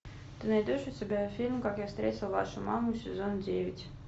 ты найдешь у себя фильм как я встретил вашу маму сезон девять